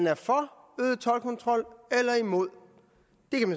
er for øget toldkontrol eller imod